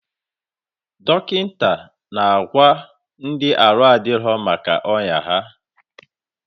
Dọkịta na agwa ndị arụ adịrọ maka ọya ha